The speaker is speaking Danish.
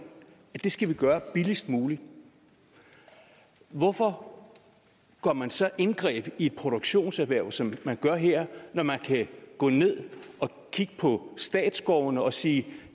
at det skal man gøre billigst muligt hvorfor går man så ind og griber ind i et produktionserhverv som man gør her når man kan gå ned og kigge på statsskovene og sige at